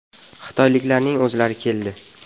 Xitoyliklarning o‘zlari keldi.